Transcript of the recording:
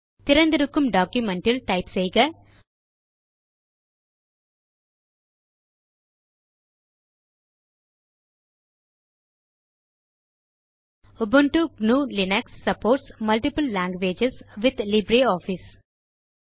திறந்திருக்கும் டாக்குமென்ட் இல் டைப் செய்க உபுண்டு gnuலினக்ஸ் supports multiple languages with LibreOffice